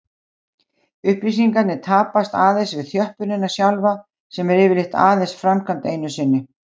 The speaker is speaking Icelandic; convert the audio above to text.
Upplýsingarnar tapast aðeins við þjöppunina sjálfa sem er yfirleitt aðeins framkvæmd einu sinni.